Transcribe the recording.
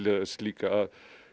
þess líka að